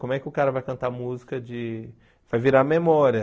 Como é que o cara vai cantar música de... vai virar memória.